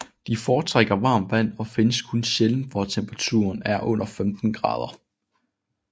De foretrækker varmt vand og findes kun sjældent hvor temperaturen er under 15 grader